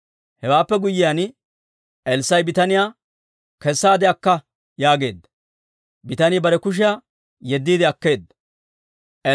Hewaappe guyyiyaan, Elssaa'i bitaniyaa, «Kessaade akka» yaageedda. Bitanii bare kushiyaa yeddiide akkeedda.